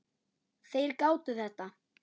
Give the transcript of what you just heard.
Þeir gátu þetta.